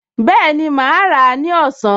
Bẹ́ẹ̀ni, mà á rà á ní ọ̀sán